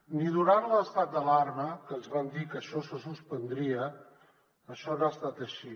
ni durant l’estat d’alarma que ens van dir que això se suspendria això no ha estat així